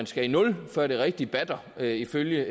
skal i nul før det rigtig batter ifølge